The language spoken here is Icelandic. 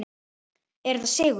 Er þetta sigur?